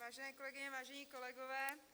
Vážené kolegyně, vážení kolegové.